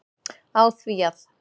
á því að